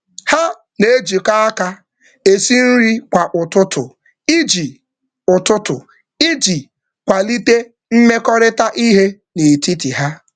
Ha na-ejikọ aka esi nri kwa ụtụtụ iji, ụtụtụ iji, kwalite mmekọrịta ihe n'etiti ha